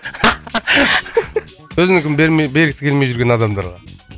өзінікін бермей бергісі келмей жүрген адамдарға